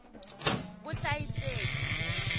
vuhlayiseki